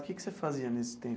O que que você fazia nesse tempo?